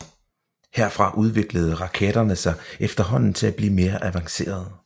Herfra udviklede raketterne sig efterhånden til at blive mere avancerede